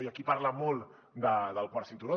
hi ha qui parla molt del quart cinturó